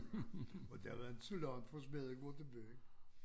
Og der var inte så langt fra Smedegård til byen